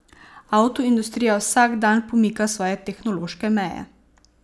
Avtoindustrija vsak dan pomika svoje tehnološke meje.